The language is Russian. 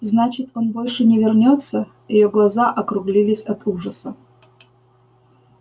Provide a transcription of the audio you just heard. значит он больше не вернётся её глаза округлились от ужаса